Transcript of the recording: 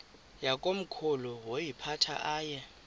yakomkhulu woyiphatha aye